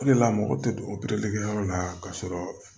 O de la mɔgɔ tɛ don yɔrɔ la ka sɔrɔ